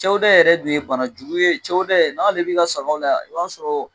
Cɛwodɛ yɛrɛ dun ye bana jugu ye cɛwodɛ n'ale b'i ka sagaw la, i b'a sɔrɔ